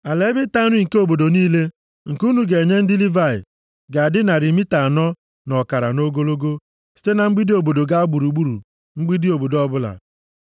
“Ala ebe ịta nri nke obodo niile nke unu ga-enye ndị Livayị ga-adị narị mita anọ na ọkara nʼogologo site na mgbidi obodo ga gburugburu mgbidi obodo ọbụla.